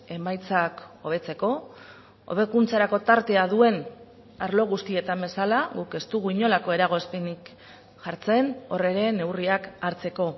emaitzak hobetzeko hobekuntzarako tartea duen arlo guztietan bezala guk ez dugu inolako eragozpenik jartzen hor ere neurriak hartzeko